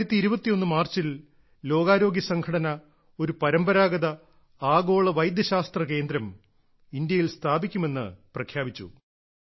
2021 മാർച്ചിൽ ലോകാരോഗ്യ സംഘടന ഒരു പരമ്പരാഗത ആഗോള വൈദ്യശാസ്ത്ര കേന്ദ്രം ഇന്ത്യയിൽ സ്ഥാപിക്കുമെന്ന് പ്രഖ്യാപിച്ചു